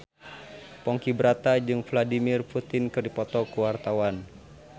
Ponky Brata jeung Vladimir Putin keur dipoto ku wartawan